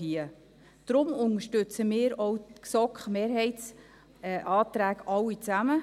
Deshalb unterstützen wir auch die GSoK-Mehrheitsanträge allesamt.